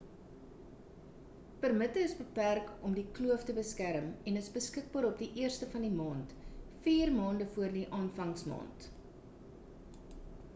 permitte is beperk om die kloof te beskerm en is beskikbaar op die 1ste van die maand vier maande voor die aanvangsmaand